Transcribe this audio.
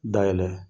Dayɛlɛ